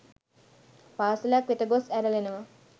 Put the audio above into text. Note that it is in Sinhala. පාසැලක් වෙත ගොස් ඇරලනවා.